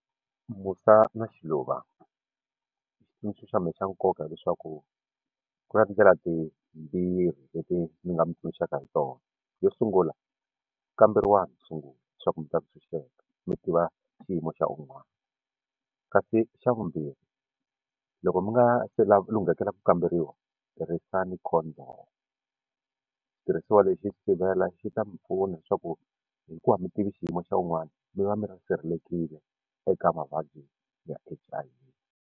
Musa na Xiluva xitsundzuxo xa mehe xa nkoka leswaku ku na tindlela timbirhi leti ni nga mi tsundzuxaka hi tona yo sungula kamberiwangi ku sungula leswaku mi ta tshunxeka mi tiva xiyimo xa un'wana kasi xa vumbirhi loko mi nga se lunghekele ku kamberiwa tirhisana Condom xitirhisiwa lexi sivela xi ta mi pfuna leswaku hikuva a mi tivi xiyimo xa wun'wana mi va mi ri sirhelelekile eka mavabyi ya H_I_V.